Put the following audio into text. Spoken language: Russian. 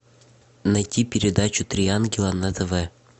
найти передачу три ангела на тв